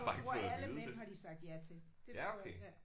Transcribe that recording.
Jeg tror alle mænd har de sagt ja til. Det tror jeg ja